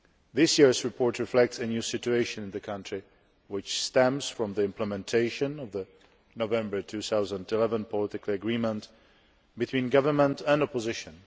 This year's report reflects a new situation in the country which stems from the implementation of the November 2011 political agreement between government and opposition.